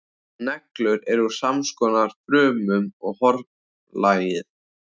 Neglur eru úr samskonar frumum og hornlagið.